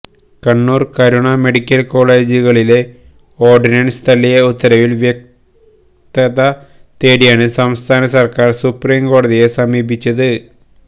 Kannur Karuna medical കോളേജുകളിലെ ordinance തള്ളിയ ഉത്തരവില് വ്യക്തത തേടിയാണ് സംസ്ഥാന സര്ക്കാര് സുപ്രീംകോടതിയെ സമീപിച്ചത്